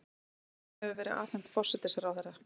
Skýrslan hefur verið afhent forsætisráðherra